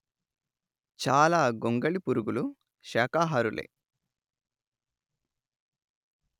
చాలా గొంగళి పురుగులు శాకాహారులే